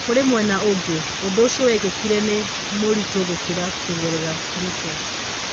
Kũrĩ mwena ũngĩ, ũndũũcio wekĩkire nĩ mũritũgũkĩra kũgerera pruto.